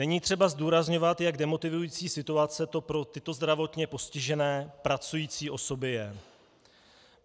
Není třeba zdůrazňovat, jak demotivující situace to pro tyto zdravotně postižené pracující osoby je.